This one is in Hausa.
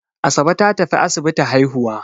Asabe ta tafi asibiti haihuwa.